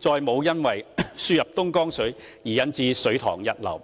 再沒有因輸入東江水而引致水塘溢流。